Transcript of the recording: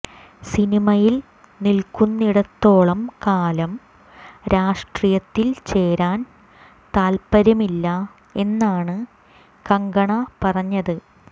സിനിമയിൽ നിൽക്കുന്നിടത്തോളം കാലം രാഷ്ട്രീയത്തിൽ ചേരാൻ താത്പര്യമില്ല എന്നാണ് കങ്കണ പറഞ്ഞത്